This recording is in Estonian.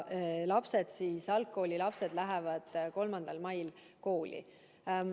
Algkoolilapsed lähevad 3. mail kooli.